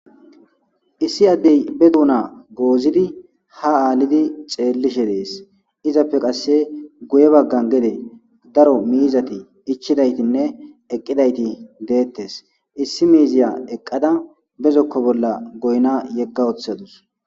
Issi addey be duuna goozidi ha aalidi xeellishe dees izappe qasse guye baggan gede daro miizati ichchidaytinne eqqidayti deettes issi miiziya eqqada bezokko bolla goyna yegga woththadus.